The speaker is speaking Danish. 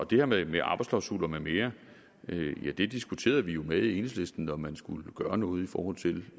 det her med med arbejdsklausuler med mere diskuterede vi jo med enhedslisten om man skulle gøre noget i forhold til